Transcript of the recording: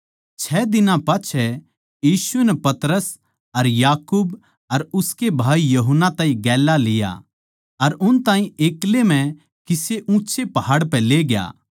छ दिनां पाच्छै यीशु नै पतरस अर याकूब अर उसके भाई यूहन्ना ताहीं गेल्या लिया अर उन ताहीं एक्लै म्ह किसे ऊँच्चे पहाड़ पै लेग्या